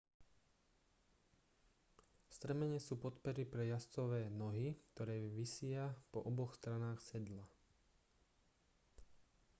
strmene sú podpery pre jazdcove nohy ktoré visia po oboch stranách sedla